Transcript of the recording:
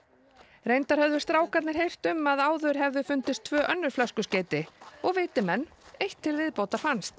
reyndar höfðu strákarnir heyrt um að áður höfðu fundist tvö önnur flöskuskeyti og viti menn eitt til viðbótar fannst